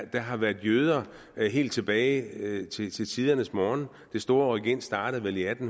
der har været jøder helt tilbage til til tidernes morgen det store rykind startede vel i atten